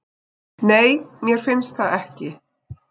Nei, mér finnst það ekki.